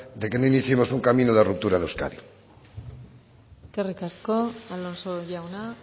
de que no iniciemos un camino de ruptura de euskadi eskerrik asko alonso jauna